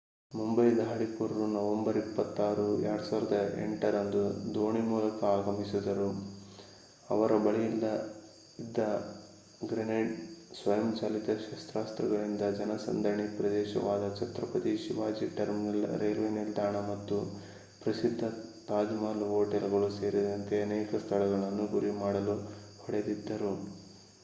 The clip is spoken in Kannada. ಮುಂಬೈ ದಾಳಿಕೋರರು ನವೆಂಬರ್ 26 2008 ರಂದು ದೋಣಿ ಮೂಲಕ ಆಗಮಿಸಿದರು ಅವರ ಬಳಿಯಿದ್ದ ಗ್ರೆನೇಡ್ ಸ್ವಯಂಚಾಲಿತ ಶಸ್ತ್ರಾಸ್ತ್ರಗಳಿಂದ ಜನಸಂದಣಿ ಪ್ರದೇಶಗಳಾದ ಛತ್ರಪತಿ ಶಿವಾಜಿ ಟರ್ಮಿನಸ್ ರೈಲ್ವೆ ನಿಲ್ದಾಣ ಮತ್ತು ಪ್ರಸಿದ್ಧ ತಾಜ್ ಮಹಲ್ ಹೋಟೆಲ್ ಸೇರಿದಂತೆ ಅನೇಕ ಸ್ಥಳಗಳನ್ನು ಗುರಿ ಮಾಡಲು ಹೊಡೆದಿದ್ದರು